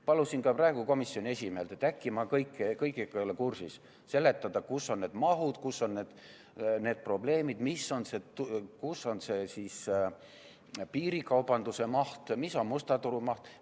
Palusin ka praegu komisjoni esimehelt – äkki ma ei ole kõigega kursis – seletada, kus on need mahud, kus on need probleemid, kus on see piirikaubanduse maht, kus on musta turu maht.